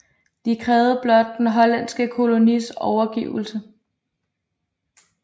De krævede den hollandske kolonis overgivelse